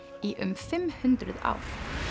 í um fimm hundruð ár það